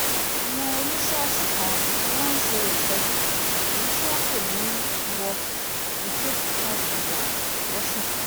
àwọn oníṣọ́ọ̀ṣì kan ni wọ́n ń ṣe ìsọjí èyí tí wọ́n pè ní iwọ crusade total deliverance lọ́sùn